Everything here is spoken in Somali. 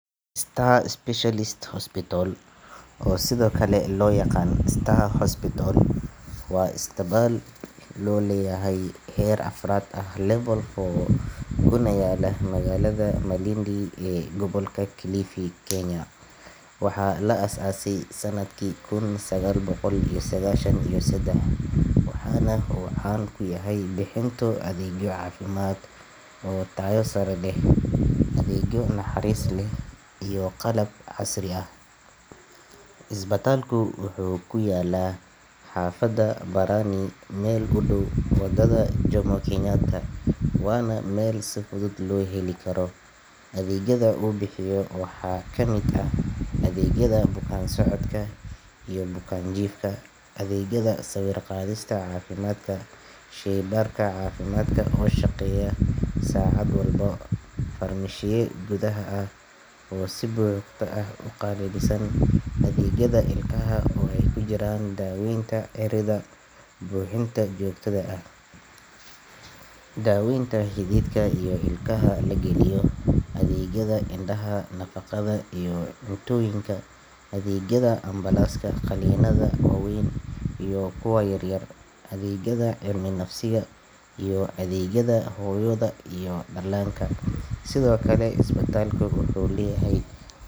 yaqaan Star Hospital, waa isbitaal gaar loo leeyahay oo heer afraad ah Level four kuna yaalla magaalada Malindi ee gobolka Kilifi, Kenya. Waxaa la aasaasay sanadkii kun sagaal boqol iyo sagaashan iyo saddex, waxaana uu caan ku yahay bixinta adeegyo caafimaad oo tayo sare leh, adeegyo naxariis leh, iyo qalab casri ah. Isbitaalku wuxuu ku yaalaa xaafadda Barani, meel u dhow waddada Jomo Kenyatta, waana meel si fudud loo heli karo. Adeegyada uu bixiyo waxaa ka mid ah adeegyada bukaan-socodka iyo bukaan-jiifka, adeegyada sawir-qaadista caafimaadka, shaybaarka caafimaadka oo shaqeeya saacad walba, farmashiye gudaha ah oo si buuxda u qalabeysan, adeegyada ilkaha oo ay ku jiraan daaweynta ciridka, buuxinta joogtada ah, daaweynta xididka, iyo ilkaha la geliyo, adeegyada indhaha, nafaqada iyo cuntooyinka, adeegyada ambalaaska, qalliinnada waaweyn iyo kuwa yaryar, adeegyada cilmi-nafsiga, iyo adeegyada hooyada iyo dhallaanka. Sidoo kale, isbitaalku wuxuu leeyahay.